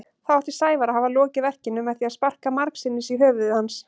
Þá átti Sævar að hafa lokið verkinu með því að sparka margsinnis í höfuð hans.